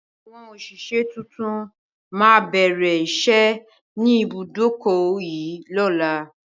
Àwọn òṣìṣẹ́ tuntun má bẹ̀rẹ̀ ìṣẹ́ ni ibùdókọ̀ yìí lọ́la